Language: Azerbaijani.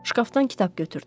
Şkafdan kitab götürdüm.